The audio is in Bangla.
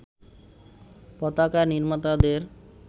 পতাকা নির্মাতাদের